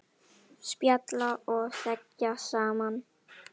Spjalla og þegja saman.